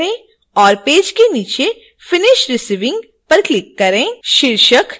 नीचे स्क्रोल करें और पेज के नीचे finish receiving पर क्लिक करें